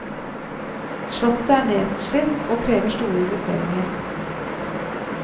Slottet er nedslitt og krever store investeringer.